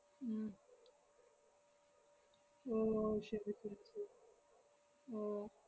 ഉം ഓ ശെരി ശെരി ശെ~ ഓ